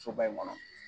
Soba in kɔnɔ